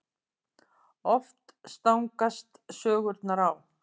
Oft stangast sögurnar á.